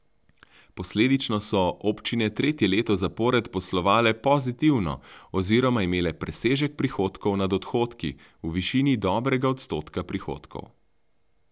Posledično so občine tretje leto zapored poslovale pozitivno oziroma imele presežek prihodkov nad odhodki v višini dobrega odstotka prihodkov.